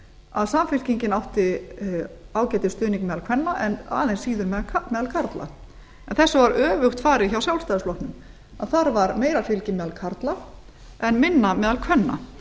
að samfylkingin átti ágætisstuðning meðal kvenna en aðeins síður meðal karla en þessu var öfugt farið hjá sjálfstfl þar var meira fylgi meðal karla en minna meðal kvenna